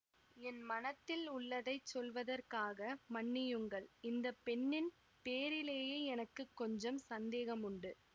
என் மனத்தில் உள்ளதைச் சொல்வதற்காக மன்னியுங்கள் இந்த பெண்ணின் பேரிலேயே எனக்கு கொஞ்சம் சந்தேகமுண்டு